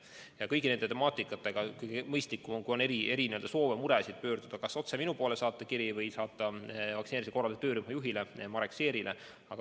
Aga kogu selle temaatikaga, kui on erisoove, muresid, on mõistlik pöörduda kas otse minu poole, näiteks saata kiri, või saata see vaktsineerimise korralduse töörühma juhile Marek Seerile.